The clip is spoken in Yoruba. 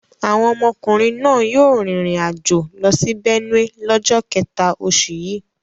Àwọn ọmọkùnrin náà yóò rìnrìn-àjò lọ sí Benue lọ́jọ́ kẹ̀ta oṣù yìí.